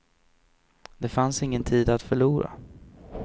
Det fanns ingen tid att förlora.